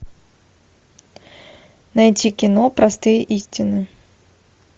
найти кино простые истины